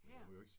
Her?